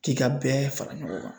K'i ka bɛɛ fara ɲɔgɔn kan